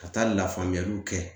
Ka taa lafaamuyaliw kɛ